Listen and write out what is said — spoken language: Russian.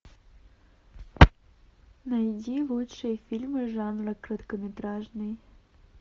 найди лучшие фильмы жанра короткометражный